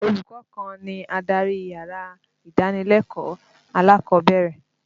Olùkọ́ kan ni adarí yàrá ìdánilẹ́kọ̀ọ́ alákọ̀ọ́bẹ̀rẹ̀.